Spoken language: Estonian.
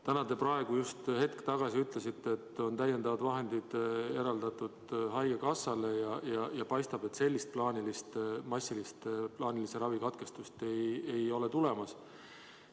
Täna te just hetk tagasi ütlesite, et on täiendavad vahendid eraldatud haigekassale ja paistab, et sellist massilist plaanilise ravi katkestust ei ole tulemas.